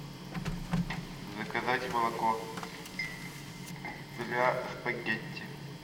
заказать молоко для спагетти